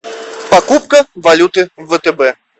покупка валюты в втб